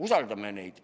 Usaldame neid!